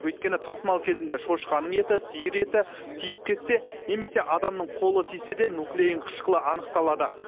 өйткені тасымал кезінде шошқаның еті сиыр еті тиіп кетсе немесе адамның қолы тисе де нуклеин қышқылы анықталады